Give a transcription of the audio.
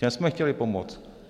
Těm jsme chtěli pomoct.